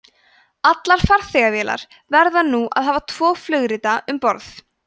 allar farþegavélar verða nú að hafa tvo flugrita um borð